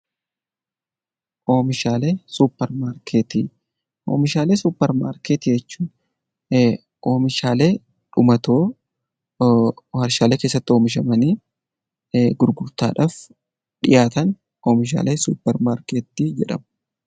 Oomishaalee suupparmaarkeetii jechuun oomishaalee dhumatoo warshaalee keessatti oomishamanii gurgurtaadhaaf dhiyaatan oomishaalee suupparmaarkeetii jedhamu